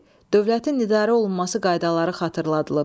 B. Dövlətin idarə olunması qaydaları xatırladılıb.